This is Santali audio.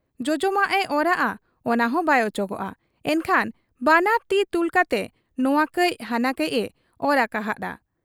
ᱡᱚᱡᱚᱢᱟᱜ ᱮ ᱚᱨᱟᱜ ᱟ ᱚᱱᱟᱦᱚᱸ ᱵᱟᱭ ᱚᱪᱚᱜᱚᱜ ᱟ ᱾ ᱮᱱᱠᱷᱟᱱ ᱵᱟᱱᱟᱨ ᱛᱤ ᱛᱩᱞᱠᱟᱛᱮ ᱱᱚᱣᱟ ᱠᱟᱹᱡ ᱦᱟᱱᱟ ᱠᱟᱹᱡ ᱮ ᱚᱨ ᱟᱠᱟ ᱦᱟᱫ ᱟ ᱾